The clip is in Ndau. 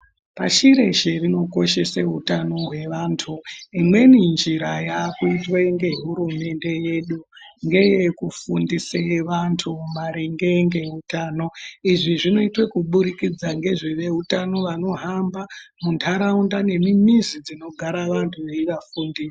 Pashireshe rinokoshese hutano hwaantu imweni njira yakaitwe ngehurumende yedu ngeyekufundise vantu maringe ngeutano. Izvi zvinoitwe kubudikidza ngevezvehutano unohamba munharaunda nemizi dzinogara vantu veivafundisa.